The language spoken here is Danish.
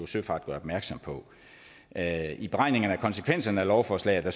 søfart gør opmærksom på af beregningerne af konsekvenserne af lovforslaget at